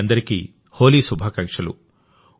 మీ అందరికీ హోలీ శుభాకాంక్షలు